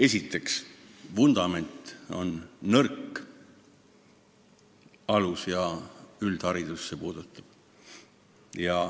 Esiteks, vundament on nõrk – see puudutab alus- ja üldharidust.